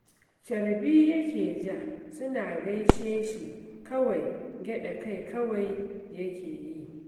Carbi yake ja, suna gaishe shi kawai gyaɗa kai kawai yake yi